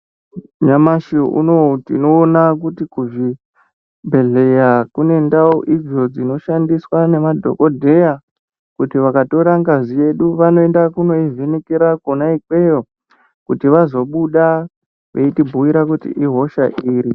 Nyamashi unowu, tinoona kuti kuzvi bhedhleya kune ndau idzo dzino shandiswa nemadhokodheya kuti vakatora ngazi yedu, vanoenda kuno ivhenekera kwona ikweyo, kuti vazo buda veitironzera kuti ihosha iri.